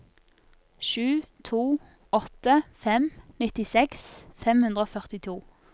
sju to åtte fem nittiseks fem hundre og førtito